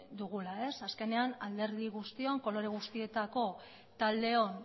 dugula azkenean alderdi guztion kolore guztietako taldeon